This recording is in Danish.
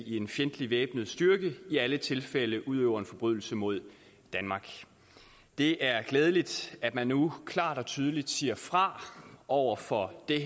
i en fjendtlig væbnet styrke i alle tilfælde udøver en forbrydelse mod danmark det er glædeligt at man nu klart og tydeligt her siger fra over for det